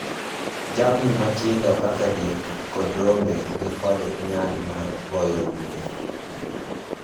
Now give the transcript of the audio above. Jamni matindo kaka diek kod rombe nikod nyalo mar goyo rude.